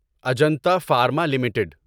Ajanta pharma limited